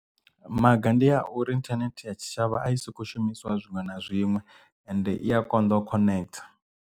Maga ndi a uri internet ya tshi tshavha a i soko shumiswa zwiṅwe na zwiṅwe ende i a konḓo connect.